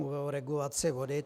Mluvil o regulaci vody.